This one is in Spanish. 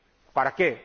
¿Para qué?